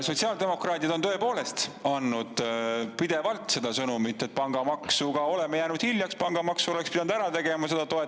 Sotsiaaldemokraadid on tõepoolest andnud pidevalt seda sõnumit, et pangamaksuga oleme jäänud hiljaks, pangamaksu oleks pidanud ära tegema.